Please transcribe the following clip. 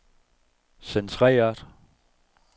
centreret